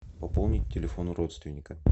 пополнить телефон родственника